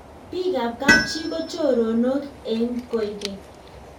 bik ab kab chi ko choronok eng koekeng'